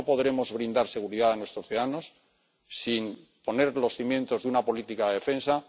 Hoy no podremos brindar seguridad a nuestros ciudadanos sin poner los cimientos de una política de defensa.